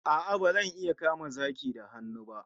A'a, bazan iya kama zaki da hannu ba